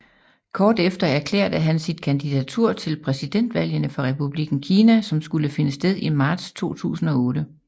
Kort efter erklærte han sit kandidatur til præsidentvalgene for Republikken Kina som skulle finde sted i marts 2008